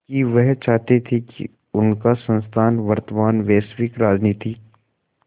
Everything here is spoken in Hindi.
कि वह चाहते थे कि उनका संस्थान वर्तमान वैश्विक राजनीति